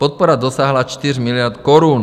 Podpora dosáhla 4 miliard korun.